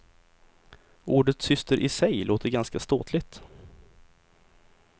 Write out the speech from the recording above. Ordet syster i sig låter ganska ståtligt.